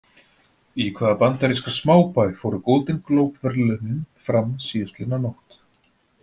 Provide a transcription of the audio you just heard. Í hvaða bandaríska smábæ fóru Golden Globe verðlaunin fram síðastliðna nótt?